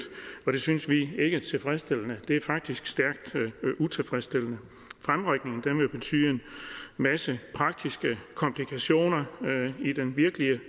og det synes vi ikke er tilfredsstillende det er faktisk stærkt utilfredsstillende fremrykningen vil betyde en masse praktiske komplikationer i den virkelige